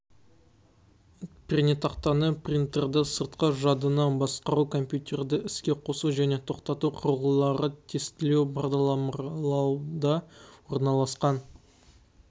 пернетақтаны принтерді сыртқы жадыны басқару компьютерді іске қосу және тоқтату құрылғыларды тестілеу бағдарламалауда орналасқан